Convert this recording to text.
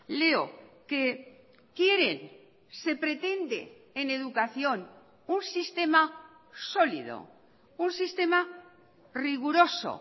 leo que quieren se pretende en educación un sistema sólido un sistema riguroso